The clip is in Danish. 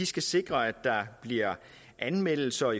skal sikre at der bliver anmeldelser